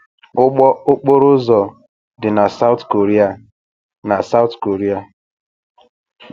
Ụgbọ okporo ụzọ dị na South Korea. na South Korea.